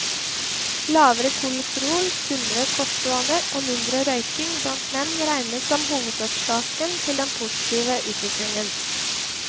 Lavere kolesterol, sunnere kostvaner og mindre røyking blant menn regnes som hovedårsaker til den positive utviklingen.